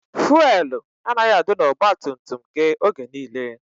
Fụelụ anaghị adị n'ọgbatumtum gị oge niile.